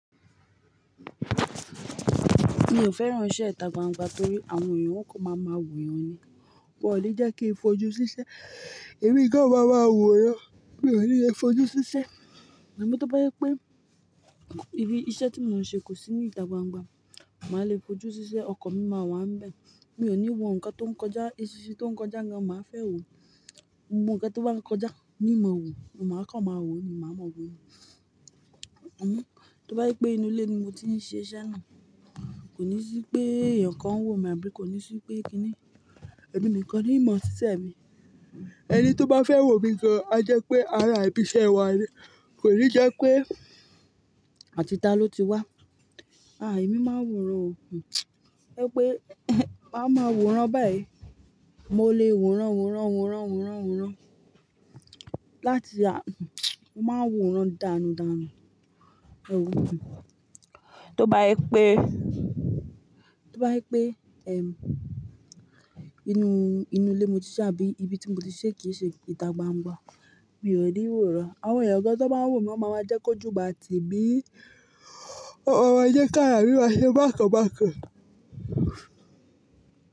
Mi ò fẹ́ran iṣẹ́ ìta gbangba torí àwọn èèyàn o kon máa máa wò èèyàn ni. Wọn ò le jẹ́ kí n fojú siṣẹ́. Èmi gan máa maa wòran, mi ò ní lè fojú siṣẹ́. Àmọ́ tó bá jẹ́ pé ibi iṣẹ́ tí mò ń ṣe kò sí ní ìta gbangba, màá le fojúsi iṣẹ́ ọkàn mi máa wá ń bẹ. Mi ò ní wo nǹkan tó ń kọjá, eṣinṣin tó ń kọjá gan máa fẹ́ wò. Gbogbo nǹkan tó bá ń kọjá ní n ma wò, màá kàn máa wò ni, màá ma wò nìí. Tó bá jẹ́ pé inú ilé ni mo ti ń ṣe iṣẹ́ náà, kò ní sí pé èèyàn kan ń wò mi àbí kò ní sí pé kíni. Èmi nìkan ni n máa ṣiṣẹ́ mi ẹni tó bá fẹ́ wò mi gan-an a jẹ́ pé ara ibi iṣẹ́ wa ni. Kònijẹ́ pé àti ìta ló ti wá èmi máa ń wòran o. Tójẹ́ pé máa máa wòran báyìí. Mo lè wòran, wòran, wòran, wòran, wòran. Láti a-- mo máa ń wòran dànù dànù. Ẹ ò mọ̀. Tó bá jẹ́ pé, tó bá jẹ́ pé, inú, inú ilé mo ti ṣe àbí ibi tí mo ti ṣe kìí ṣe ìta gbangba, mi ò ní wòran. Àwọn èèyàn gan-an tó bá ń wò mi wọn máa jẹ́ kójù máa tì mi, ó ma máa jẹ́ kí ara mi máa ṣe bákan bákan.